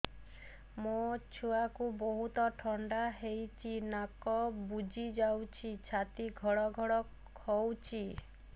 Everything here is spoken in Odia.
ମୋ ଛୁଆକୁ ବହୁତ ଥଣ୍ଡା ହେଇଚି ନାକ ବୁଜି ଯାଉଛି ଛାତି ଘଡ ଘଡ ହଉଚି